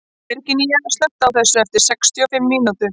Virginía, slökktu á þessu eftir sextíu og fimm mínútur.